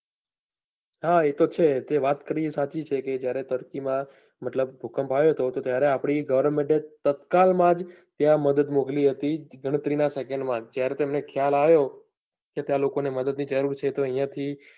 હા એ તો છે તે વાત કરી એ સાચી છે કે જ્યારે તરકી માં મતલબ ભૂકંપ આવ્યો તો ત્યારે આપની government એ તત્કાલ માં જ ત્યાં મદદ મોકલી હતી ગણતરી નાં second માં ત્યારે તેમને ખ્યાલ આવ્યો ત્યાં લોકો ને મદદ ની જરૂર છે તો અહિયાં થી